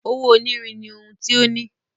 Owó onírin ní ohùn tí o ní.